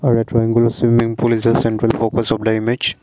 swimming pool is a central focus of the image.